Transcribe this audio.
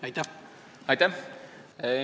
Aitäh!